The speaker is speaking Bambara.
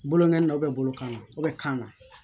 Boloŋɔni na bolo kan na u bɛ kan na